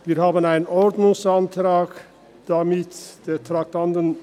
Wir haben einen Ordnungsantrag zu Traktandum 71 gestellt.